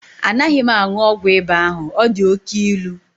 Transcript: Anaghị m aṅụ ọgwụ ịba ahụ, ọ dị oke ilu.